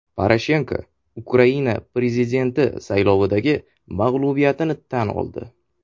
Poroshenko Ukraina prezidenti saylovidagi mag‘lubiyatini tan oldi.